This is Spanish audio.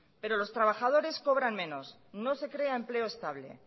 pero los trabajadores cobran menos no se crea empleo estable